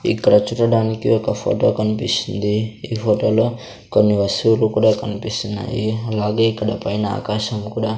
ఇక్కడ చూడటానికి ఒక ఫోటో కనిపిస్తుంది ఈ ఫోటో లో కొన్ని వస్తువులు కూడా కనిపిస్తున్నాయి అలాగే ఇక్కడ పైన ఆకాశం కూడా.